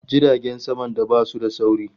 Jiragen saman da basu da sauri